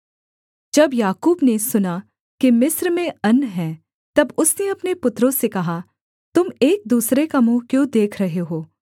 जब याकूब ने सुना कि मिस्र में अन्न है तब उसने अपने पुत्रों से कहा तुम एक दूसरे का मुँह क्यों देख रहे हो